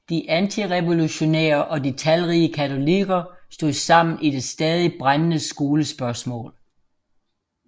De antirevolutionære og de talrige katolikker stod sammen i det stadig brændende skolespørgsmål